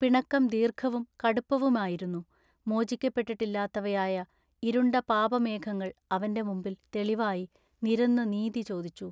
പിണക്കം ദീർഘവും കടുപ്പവുമായിരുന്നു. മോചിക്കപ്പെട്ടിട്ടില്ലാത്തവയായ ഇരുണ്ട പാപമേഘങ്ങൾ അവന്റെ മുമ്പിൽ തെളിവായി നിരന്നു നീതി ചോദിച്ചു.